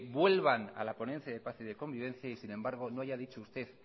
vuelvan a la ponencia de paz y de convivencia y sin embargo no haya dicho usted